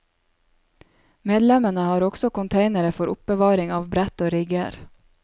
Medlemmene har også containere for oppbevaring av brett og rigger.